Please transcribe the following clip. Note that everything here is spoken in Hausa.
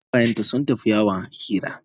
Amina da kawayenta sun tafi yawon hira.